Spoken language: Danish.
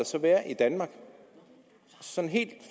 så være i danmark sådan helt